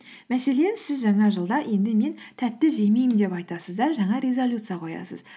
мәселен сіз жаңа жылда енді мен тәтті жемеймін деп айтасыз да жаңа резолюция қоясыз